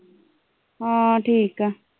ਹਾਂ ਠੀਕ ਆ।